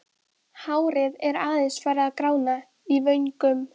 Hárið er aðeins farið að grána í vöngum.